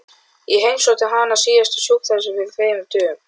Ég heimsótti hana síðast á sjúkrahúsið fyrir þremur dögum.